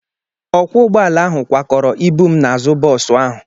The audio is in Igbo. Ọkwọ ụgbọala ahụ kwakọrọ ibu m n'azụ bọọsụ ahụ.